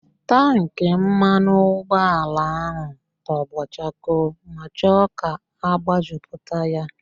Tankị mmanụ ụgbọala ahụ tọgbọ chakoo ma chọọ ka agbajupụta ya